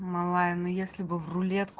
малая ну если бы в рулетку